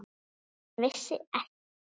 Hann vissi ekkert.